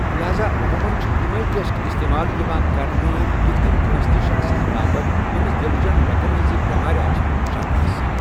لہذا، عموٗمَن چھِ یِمے ٹیسٹ استعمال یِوان کرنہٕ یِتھ کٔنہِ کٲنٛسہِ تہِ شخصَس باپت ییمِس دِلہٕ چین رگن ہنزِ بیمارِ آسنٗك شكھ آسہِ ۔